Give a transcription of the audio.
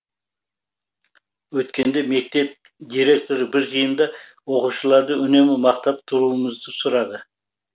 өткенде мектеп директоры бір жиында оқушыларды үнемі мақтап тұруымызды сұрады